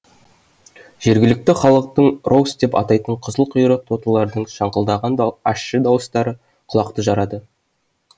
жергілікті халықтың роус деп атайтын қызыл құйрық тотылардың шаңқылдаған ащы дауыстары құлақты жарады